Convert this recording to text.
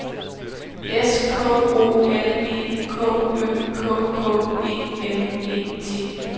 S K O L E K Ø K K E N E T